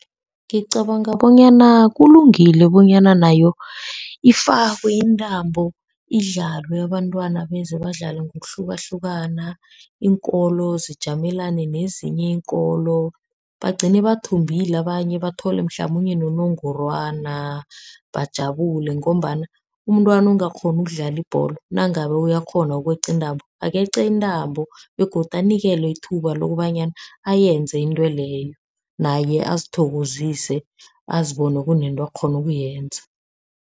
Ngicabanga bonyana kulungile bonyana nayo ifakwe intambo. Idlalwe abantwana beze badlale ngokuhlukahlukana iinkolo zijamelane nezinye iinkolo. Bagcine bathumbile abanye bathole mhlamunye nonogorwana. Bajabule ngombana umntwana ongakghoni ukudlala ibholo nangabe uyakghona ukweqa intambo, akeqe intambo begodu anikelwe ithuba lokobanyana ayenze intweleyo naye azithokozise azibone kunento akghonukuyenza.